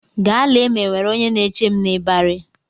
Gaa lee ma e nwere onye na-eche m n'ịbarị!